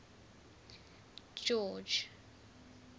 george